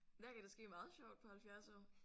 Men der kan da ske meget sjovt på 70 år